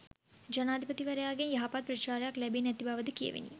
ජනාධිපතිවරයාගෙන් යහපත් ප්‍රතිචාරයක් ලැබී නැති බවද කියැවිණි